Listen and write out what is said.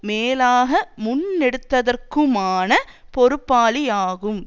மேலாக முன்னெடுத்ததற்குமான பொறுப்பாளியாகும்